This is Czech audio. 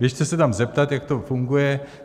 Běžte se tam zeptat, jak to funguje.